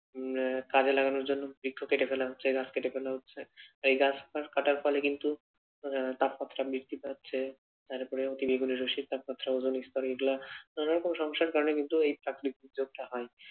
উম কাজে লাগানোর জন্য বৃক্ষ কেটে ফেলা হচ্ছে গাছ কেটে ফেলা হচ্ছে, এই গাছপালা কাটার ফলে কিন্তু আহ তাপমাত্রা বৃদ্ধি পাচ্ছে তারপরে অতিবেগুনি রশির তাপমাত্রা ওজনস্তর এগুলা নানা রকম সমস্যার কারনে কিন্তু এই প্রাকৃতিক দুর্যোগটা হয়।